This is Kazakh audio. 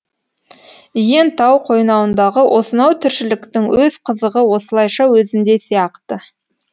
иен тау қойнауындағы осынау тіршіліктің өз қызығы осылайша өзінде сияқты